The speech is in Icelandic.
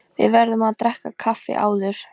Við verðum að drekka kaffi áður.